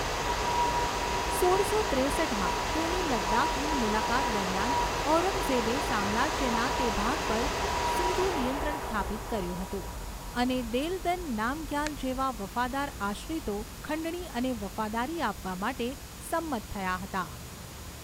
સોળસો ત્રેસઠમાં, તેની લદ્દાખની મુલાકાત દરમિયાન, ઔરંગઝેબે સામ્રાજ્યના તે ભાગ પર સીધું નિયંત્રણ સ્થાપિત કર્યું હતું અને દેલદન નામગ્યાલ જેવા વફાદાર આશ્રિતો ખંડણી અને વફાદારી આપવા માટે સંમત થયા હતા.